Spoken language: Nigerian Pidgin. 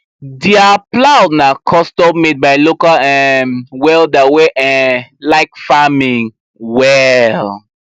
dia plow na custommade by local um welder wey um like farming well